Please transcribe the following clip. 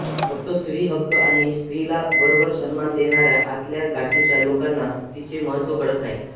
फक्त स्त्री हक्क आणि स्त्रीला वरवर सन्मान देणाऱ्या आतल्या गाठीच्या लोकांना तिचे महत्व कळत नाही